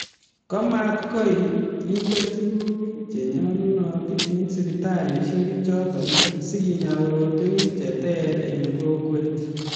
Komaktoi kende tukuk che nyalunot eng siptalishek choto asikenyaa korotwek che ter eng kokwet